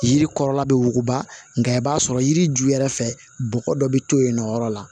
Yiri kɔrɔ bɛ wuguba nga i b'a sɔrɔ yiri ju yɛrɛ fɛ bɔgɔ dɔ bi to yen nɔyɔrɔ la